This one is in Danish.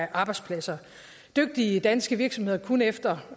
arbejdspladser dygtige danske virksomheder kunne efter